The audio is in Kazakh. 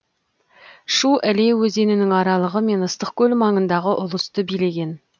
шу іле өзенінің аралығы мен ыстықкөл маңындағы ұлысты билеген